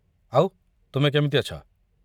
ଆଉ, ତୁମେ କେମିତି ଅଛ?